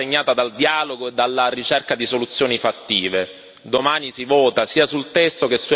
La costruzione di questa relazione è stata segnata dal dialogo e dalla ricerca di soluzioni fattive.